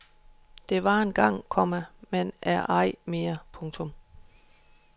Det var engang, komma men er ej mere. punktum